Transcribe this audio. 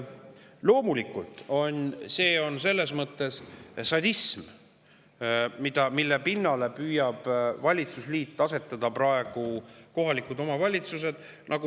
Loomulikult see on mõnes mõttes sadism, mille pinnale püüab valitsusliit asetada praegu kohalikud omavalitsused.